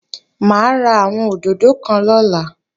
Mà á ra àwọn òdòdó kan lọ́la